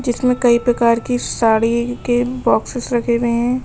जिसमें कई प्रकार की साड़ी के बॉक्सेस रखें हुए हैं।